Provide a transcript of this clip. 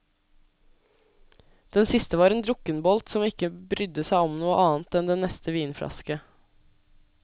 Den siste var en drukkenbolt som ikke brydde seg om noe annet enn den neste vinflaske.